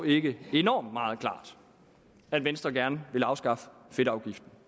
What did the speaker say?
ikke enormt meget klart at venstre gerne vil afskaffe fedtafgiften